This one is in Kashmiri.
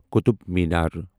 قطب میٖنار